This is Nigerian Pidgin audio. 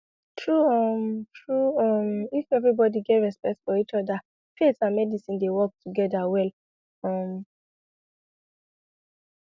true um true um if everybody get respect for each other faith and medicine dey work together well um